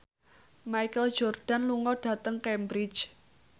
Michael Jordan lunga dhateng Cambridge